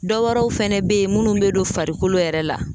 Dɔwɛrɛw fɛnɛ be yen munnu be don farikolo yɛrɛ la.